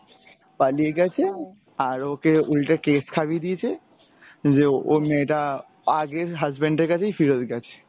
পালিয়ে গেছে আর ওকে উল্টে case খাইয়ে দিয়েছে যে ওই মেয়েটা আগের husband এর কাছেই ফেরত গেছে।